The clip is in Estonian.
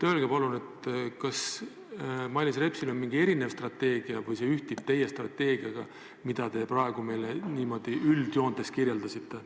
Öelge palun, kas Mailis Repsil on mingi erinev strateegia või ühtib see teie strateegiaga, mida te praegu meile niimoodi üldjoontes kirjeldasite.